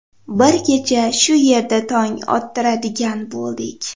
Bir kecha shu yerda tong ottiradigan bo‘ldik.